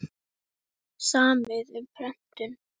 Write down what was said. unni heilu og höldnu í rétt höfuð en lenti svo í tómu tjóni.